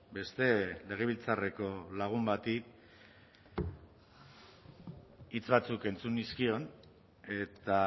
beste legebiltzarreko lagun bati hitz batzuk entzun nizkion eta